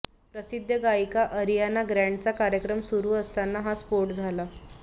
प्रसिद्ध गायिका अरियाना ग्रॅण्डचा कार्यक्रम सुरु असताना हा स्फोट झाला